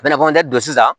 Bɛnɛfodɛ don sisan